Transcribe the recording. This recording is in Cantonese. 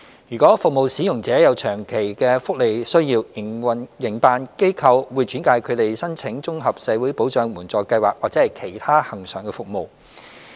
如服務使用者有長期福利需要，營辦機構會轉介他們申請綜合社會保障援助計劃或其他恆常服務。